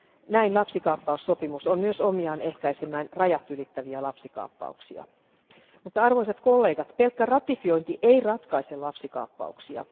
Näin lapsikaappaussopimus on myös omiaan ehkäisemään rajat ylittäviä lapsikaappauksia. Mutta pelkkä ratifiointi ei ratkaise lapsikaappauksia.